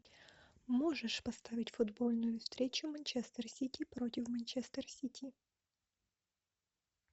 можешь поставить футбольную встречу манчестер сити против манчестер сити